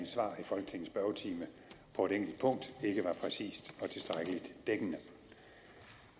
svar i folketingets spørgetime på et enkelt punkt ikke var præcist og tilstrækkelig dækkende